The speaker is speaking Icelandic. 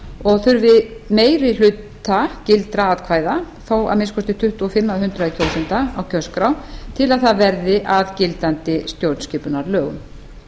og þurfi meiri hluta gildra atkvæða þá að minnsta kosti tuttugu og fimm prósent kjósenda á kjörskrá til að það verði að gildandi stjórnskipunarlögum